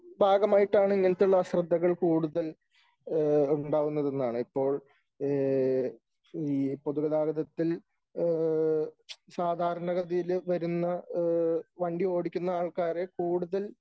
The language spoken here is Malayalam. ഭാഗമായിട്ടാണ് ഇങ്ങനത്തെ ഉള്ള ആശ്രദ്ധകൾ കൂടുതൽ ഉണ്ടാകുന്നത് എന്നാണ് . ഇപ്പോൾ ഈ പൊതുഗതാഗതത്തിൽ സാധാരണഗതിയിൽ വരുന്ന വണ്ടി ഓടിക്കുന്ന ആൾക്കാരെ കൂടുതൽ